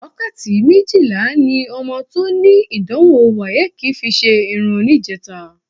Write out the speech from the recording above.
Wákàtí méjìlá ni ọmọ tó ní ìdánwò WAEC fi ṣe irun níjẹta